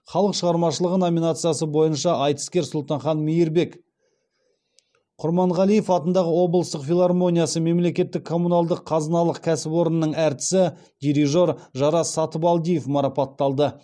халық шығармашылығы номинациясы бойынша айтыскер сұлтанхан мейірбек құрманғалиев атындағы облыстық филармониясы мемлекеттік коммуналдық қазыналық кәсіпорынның әртісі дирижері жарас сатыбалдиев марапатталды